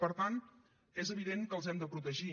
per tant és evident que els hem de protegir